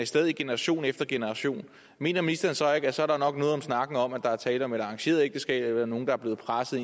sted i generation efter generation mener ministeren så ikke at så er der nok noget om snakken om at der er tale om et arrangeret ægteskab eller nogle der er blevet presset